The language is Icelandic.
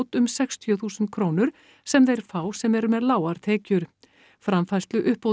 um sextíu þúsund krónur sem þeir fá sem eru með lágar tekjur framfærsluuppbótin